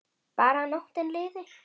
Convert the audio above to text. Bara að nóttin liði.